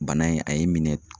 Bana in ,a ye minɛ.